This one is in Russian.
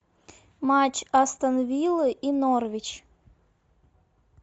матч астон виллы и норвич